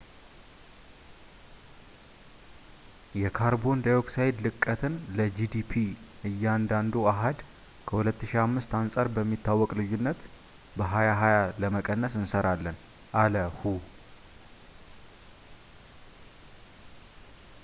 "የካርቦን ዳይኦክሳይድ ለቀትን ለgdp እያንዳንዱ አሃድ ከ2005 አንጻር በሚታወቅ ልዩነት በ2020 ለመቀነስ እንሰራለን፣ አለ ሁ።